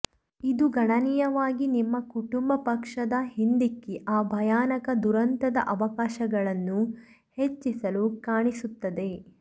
ಇದು ಗಣನೀಯವಾಗಿ ನಿಮ್ಮ ಕುಟುಂಬ ಪಕ್ಷದ ಹಿಂದಿಕ್ಕಿ ಆ ಭಯಾನಕ ದುರಂತದ ಅವಕಾಶಗಳನ್ನು ಹೆಚ್ಚಿಸಲು ಕಾಣಿಸುತ್ತದೆ